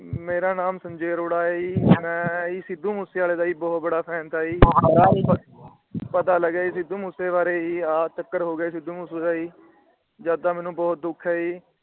ਮੇਰਾ ਨਾਮ ਸੰਜੇ ਅਰੋੜਾ ਏ ਜੀ ਮੈ ਸਿੱਧੂ ਮੂਸੇਵਾਲੇ ਦਾ ਜੀ ਬਹੁਤ { बड़ा } Fan { था } ਜੀ ਪਤਾ ਲੱਗਾ ਸਿੱਧੂ ਮੂਸੇਵਾਲੇ ਬਾਰੇ ਜੀ ਆ ਚੱਕਰ ਹੋ ਗਿਆ। ਜਦ ਦਾ ਮੈਨੂੰ ਬਹੁਤ ਦੁੱਖ ਏ ਜੀ।